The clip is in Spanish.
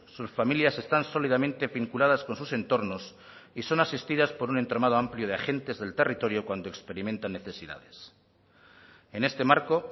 sus familias están sólidamente vinculadas con sus entornos y son asistidas por un entramado amplio de agentes del territorio cuando experimentan necesidades en este marco